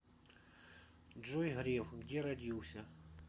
джой греф где родился